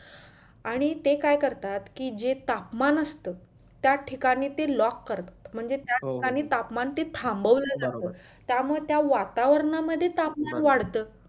आणि ते काय करतात कि जे तापमान असत त्या ठिकाणी ते lock करतात म्हणजे त्या ठिकाणी तापमान थांबवलं जात त्या मुळे त्या वातावरणा मध्ये तापमान वाढत